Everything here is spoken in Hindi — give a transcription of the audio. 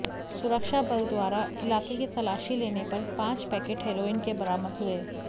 सुरक्षा बल द्वारा इलाके की तलाशी लेने पर पांच पैकेट हेरोइन के बरामद हुए